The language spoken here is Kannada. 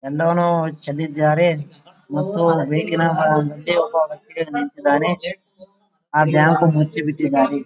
ಎಲ್ಲವನ್ನು ಚೆಲ್ಲಿದ್ದಾರೆ ಮತ್ತು ನಿಂತಿದ್ದನೆ ಮತ್ತು ಆ ಬ್ಯಾಂಕ ಮುಚ್ಚಿಬಿಟ್ಟಿದ್ದಾರೆ .